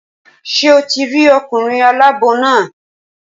Ṣé o ti rí ọkùnrin aláàbò náà?